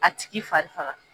A tigi farifaga.